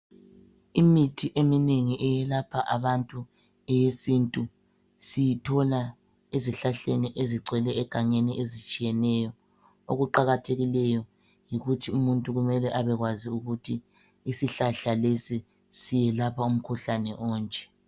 Imithi eminengi eyelapha abantu, eyesintu, siyithola ezihlahleni ezigcwele egangeni ezitshiyeneyo. Okuqakathekileyo yikuthi umuntu kumele abekwazi ukuthi isihlahla lesi siyelapha umkhuhlane onje.